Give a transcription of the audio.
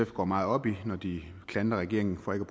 går meget op i når de klandrer regeringen for ikke